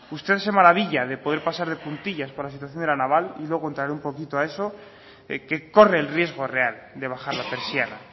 usted se maravilla de poder pasar de puntillas por la situación de la naval y luego entrar un poquito a eso que corre el riesgo real de bajar la persiana